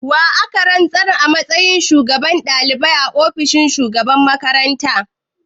Wa aka rantsar a matsayin shugaban dalibai a ofishin shugaban makaranta?